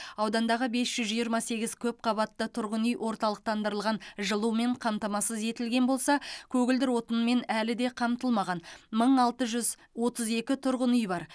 аудандағы бес жүз жиырма сегіз көпқабатты тұрғын үй орталықтандырылған жылумен қамтамасыз етілген болса көгілдір отынмен әлі де қамтылмаған мың алты жүз отыз екі тұрғын үй бар